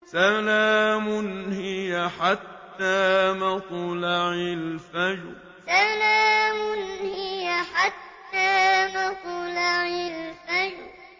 سَلَامٌ هِيَ حَتَّىٰ مَطْلَعِ الْفَجْرِ سَلَامٌ هِيَ حَتَّىٰ مَطْلَعِ الْفَجْرِ